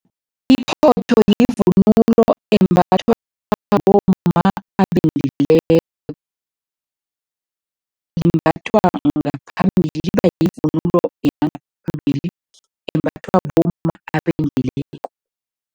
Iphotho yivunulo embathwa bomma abendileko. Imbathwa ngaphambili, iba yivunulo yangaphambili embathwa bomma abendileko.